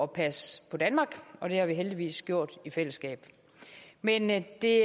passe på danmark og det har vi heldigvis gjort i fællesskab men men det